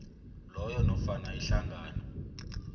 loyo nofana ihlangano